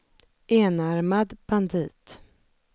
enarmad bandit